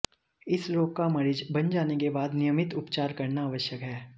इस रोग का मरीज बन जाने के बाद नियमित उपचार करना आवश्यक है